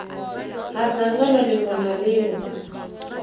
ha dzangano ḽiṅwe na ḽiṅwe